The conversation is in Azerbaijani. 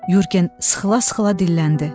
Yurgen sıxıla-sıxıla dilləndi.